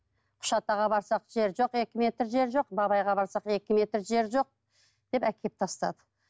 үшатаға барсақ жер жоқ екі метр жер жоқ бабайға барсақ екі метр жер жоқ деп әкеліп тастады